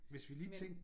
Hvis vi lige tænker